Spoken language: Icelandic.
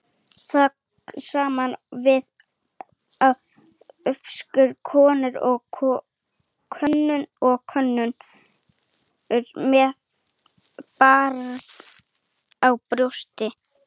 Það sama á við um ófrískar konur og konur með barn á brjósti.